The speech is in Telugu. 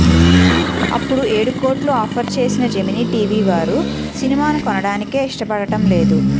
అపుడు ఏడు కోట్లు ఆఫర్ చేసిన జెమిని టీవీ వారు సినిమాను కొనడానికే ఇష్టపడటం లేదు